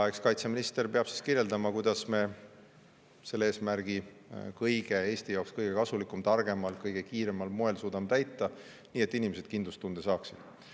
Eks kaitseminister peab kirjeldama, kuidas me selle eesmärgi Eesti jaoks kõige kasulikumal, targemal ja kõige kiiremal moel suudame täita, nii et inimesed saaksid kindlustunde.